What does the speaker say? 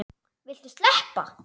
Viltu sleppa!